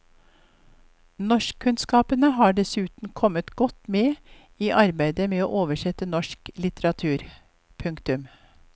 Norskkunnskapene har dessuten kommet godt med i arbeidet med å oversette norsk litteratur. punktum